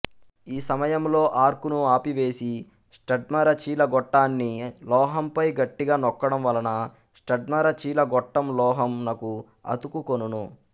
ఈ సమయంలో ఆర్కును ఆపివేసి స్టడ్మరచీలగొట్టాన్ని లోహంపై గట్టిగా నొక్కడం వలన స్టడ్మరచీలగొట్టం లోహం నకు అతుకుకొనును